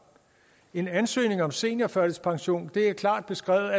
en ansøgning om seniorførtidspension er klart beskrevet